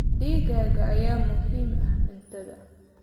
Digaagga ayaa muhiim u ah cuntada.